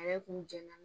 Ale kun jɛnna